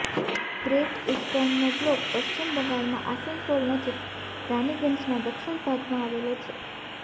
great ઈસ્ટર્નનો block પશ્ચિમ બંગાળમાં આસનસોલ નજીક રાનીગંજના દક્ષિણ ભાગમાં આવેલો છે